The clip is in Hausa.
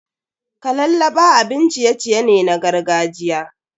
Kalallaba abin ciye-ciye ne na gargajiya.